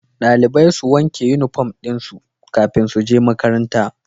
Dalibai su wanke inufom dinsu kafin suje makaranta